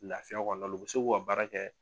Lafiya kɔnɔna la u bi se k'u ka baara kɛ